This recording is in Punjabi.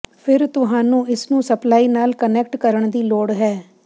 ਫਿਰ ਤੁਹਾਨੂੰ ਇਸ ਨੂੰ ਸਪਲਾਈ ਨਾਲ ਕੁਨੈਕਟ ਕਰਨ ਦੀ ਲੋੜ ਹੈ